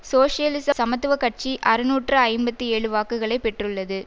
சோசியலிச சமத்துவ கட்சி அறுநூற்று ஐம்பத்தி ஏழு வாக்குகளை பெற்றுள்ளது